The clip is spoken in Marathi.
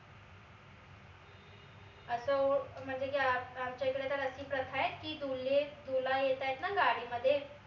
अस हो म्हनजे की आमच्या इकडे तर अशी प्रथा ए की दुल्लहे दुल्हा येत आहेत ना गाडी मध्ये